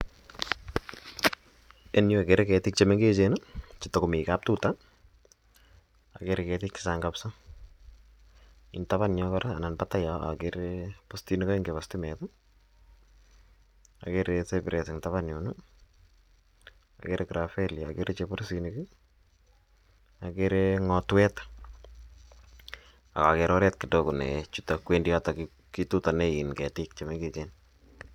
Eng' yu ketik che mengechen che tako mi kaptuta. Akere ketiik che chang' missing'. Eng' tapan yo kora anan patai yo akere postinik aeng' chepa stimet, akere Cyprus eng' tapan yun i,akere Gravelia, akere ng'otwet ak akere kidogo ne chute kowendi yotok kialdaei ketik che mengechen.